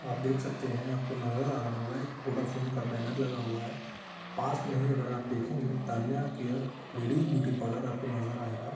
आप देख सकते हैं आपको नज़र आ रहा होगा एक वोडाफोन का बैनर लगा हुआ है पास में ही अगर आप देखेंगे Tanya care ladies beauty parlour आपको नज़र आएगा।